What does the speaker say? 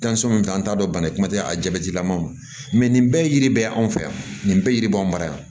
an t'a dɔn bana kuma tɛ a jabɛtilamaw nin bɛɛ ye yiri bɛ ye anw fɛ yan nin bɛɛ yiri b'an ma yan